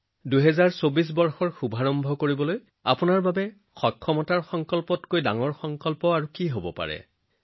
২০২৪ চন আৰম্ভ কৰাৰ বাবে আপোনাৰ নিজৰ ফিটনেছতকৈ ডাঙৰ সংকল্প কি হব পাৰে